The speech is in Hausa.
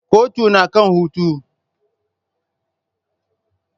Kotun na kan hutu.